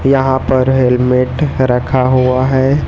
यहां पर हेल्मेट रखा हुआ है।